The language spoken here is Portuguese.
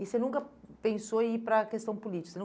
E você nunca pensou em ir para a questão política? Você não